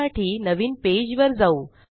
या साठी नवीन पेज वर जाऊ